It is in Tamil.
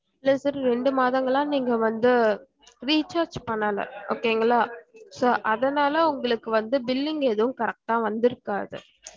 இல்ல sir ரெண்டு மாதங்களா நீங்க வந்து recharge பண்ணல okay ங்களா so அதனால உங்களுக்கு வந்து billing எதும் correct அஹ் வந்திருக்காது